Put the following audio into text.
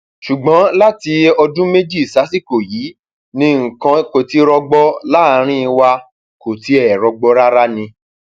ṣùgbọn láti ọdún méjì um sásìkò yìí sásìkò yìí ni nǹkan kò ti rọgbọ um láàrín wa kò tiẹ rọgbọ rárá ni